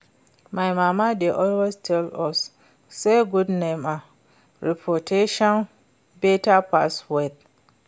My mama dey always tell us say good name and reputation better pass wealth